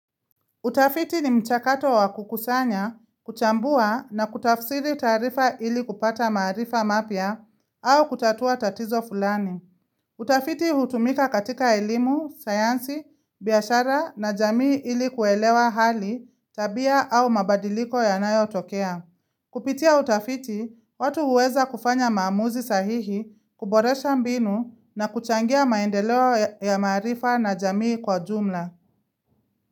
Utafiti ni mchakato wa kukusanya, kuchambua na kutafsiri taarifa ili kupata maarifa mapya au kutatua tatizo fulani. Utafiti hutumika katika elimu, sayansi, biashara na jamii ili kuelewa hali, tabia au mabadiliko yanayotokea. Kupitia utafiti, watu huweza kufanya maamuzi sahihi, kuboresha mbinu na kuchangia maendeleo ya maarifa na jamii kwa jumla.